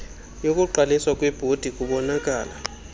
yokuqaliswa kwebhodi kubonkala